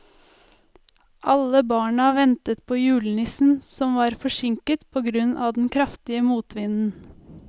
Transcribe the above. Alle barna ventet på julenissen, som var forsinket på grunn av den kraftige motvinden.